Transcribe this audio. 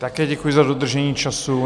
Také děkuji za dodržení času.